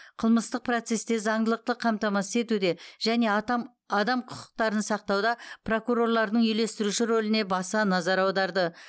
қылмыстық процесте заңдылықты қамтамасыз етуде және атам адам құқықтарын сақтауда прокурорлардың үйлестіруші рөліне баса назар аударды